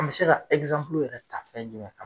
An mi se ka yɛrɛ ta fɛn jumɛn kan ?